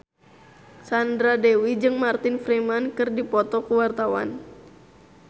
Sandra Dewi jeung Martin Freeman keur dipoto ku wartawan